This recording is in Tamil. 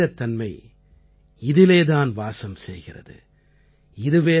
நம்முடைய மனிதத்தன்மை இதிலே தான் வாசம் செய்கிறது